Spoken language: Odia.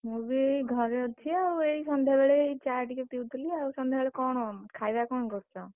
ମୁଁ ବି ଏଇ ଘରେ ଅଛି ଆଉ ଏଇ ସନ୍ଧ୍ୟାବେଳେ ଏଇ ଚା ଟିକେ ପିଉଥିଲି ଆଉ, ସନ୍ଧ୍ୟାବେଳେ କଣ ଖାଇବା କଣ, କରୁଛ?